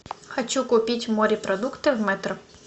хочу купить морепродукты в метро